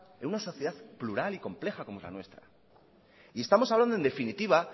en una sociedad plural y compleja como la nuestra y estamos hablando en definitiva